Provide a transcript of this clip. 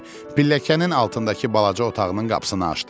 Pilləkənin altındakı balaca otağının qapısını açdı.